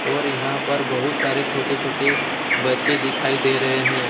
और यहां पर बहुत सारे छोटे छोटे बच्चे दिखाई दे रहे है